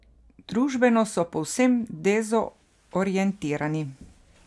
Družbeno se povsem dezorientirani.